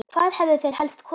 Hvað hefðu þeir helst kosið?